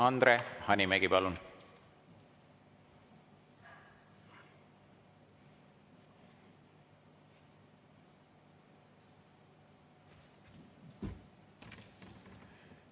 Andre Hanimägi, palun!